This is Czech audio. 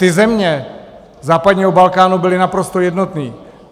Ty země západního Balkánu byly naprosto jednotné.